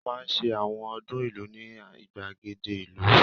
Wọ́n máa ń ṣe àwọn ọdún ìlú ní ìgbàgede ìlú